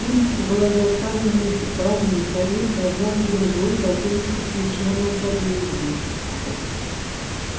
улица была заставлена экипажами кареты одна за другой катились к освещённому подъезду